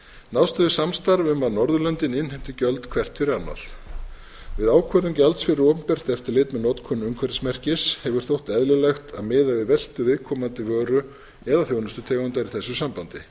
náðst hefur samstarf um að norðurlöndin innheimti gjöld hvert fyrir annað við ákvörðun gjalds fyrir opinbert eftirlit með notkun umhverfismerkis hefur þótt eðlilegt að miða við veltu viðkomandi vöru eða þjónustutegundar í þessu sambandi er